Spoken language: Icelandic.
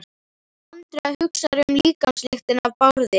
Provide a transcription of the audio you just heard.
Andrea hugsar um líkamslyktina af Bárði.